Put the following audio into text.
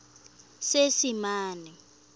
seesimane